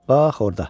Bax orda.